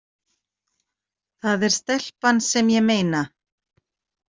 Það er stelpan sem ég meina.